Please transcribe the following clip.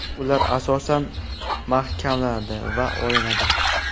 Ular oson mahkamlanadi va olinadi.